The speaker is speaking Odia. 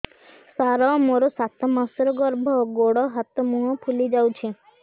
ସାର ମୋର ସାତ ମାସର ଗର୍ଭ ଗୋଡ଼ ହାତ ମୁହଁ ଫୁଲି ଯାଉଛି